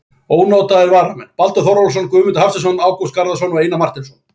Ónotaðir varamenn: Baldur Þórólfsson, Guðmundur Hafsteinsson, Ágúst Garðarsson, Einar Marteinsson.